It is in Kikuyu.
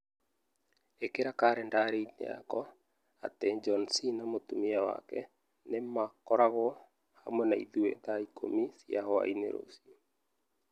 ĩkĩra kalendarĩ-inĩ yakwa atĩ John C. na mũtumia wake nĩ makoragwo hamwe na ithuĩ thaa ikũmi cia hwaĩ-inĩ rũciũ.